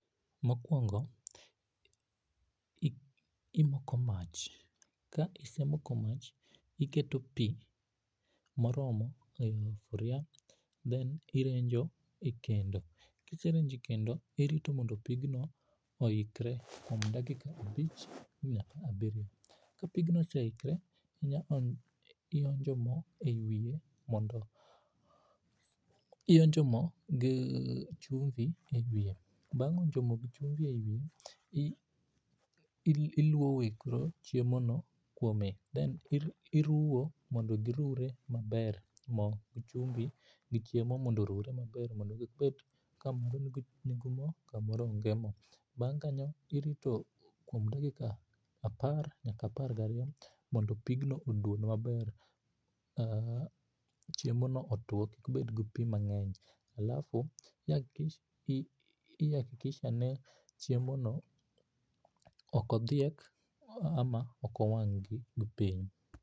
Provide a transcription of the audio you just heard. Mokuongo imoko mach, ka isemoko mach iketo pii moromo e sufria then irenjo e kendo. Kiserenjo e kendo irito mondo pigno oikre, kuom dakika abich nyaka abirio, ka pigno oseikre, ionjo moo ei wiye mondo, ionjo moo gi chumvi e wiye, bang onjo moo gi chumbi e wiye, iluowe koro chiemo no kuome, then iruwo mondo giruwe maber moo gi chumbi gi chiemo mondo oruwe maber mondo gibet ni moro nigi moo to kamoro onge moo. Bang kanyo irito kuom dakika apar nyaka apar gariyo mondo pigno oduon maber, aah, chiemo no otuo kik bedgi pii mangeny. Alafu i hakikisha ni chiemo no ok odhiek ama ok owang gi piny